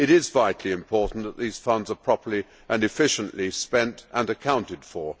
It is vitally important that these funds are properly and efficiently spent and accounted for.